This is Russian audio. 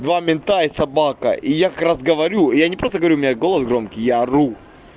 два мента и собака и я как раз говорю я не просто говорю у меня голос громкий я ору